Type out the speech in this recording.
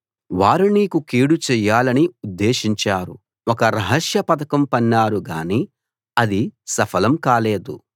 వారు నీకు కీడు చెయ్యాలని ఉద్దేశించారు ఒక రహస్య పథకం పన్నారు గాని అది సఫలం కాలేదు